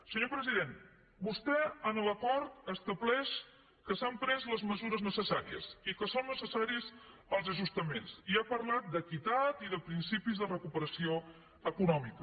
senyor president vostè en l’acord estableix que s’han pres les mesures necessàries i que són necessaris els ajustaments i ha parlat d’equitat i de principis de recuperació econòmica